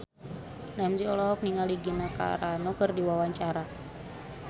Ramzy olohok ningali Gina Carano keur diwawancara